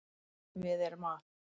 Við erum að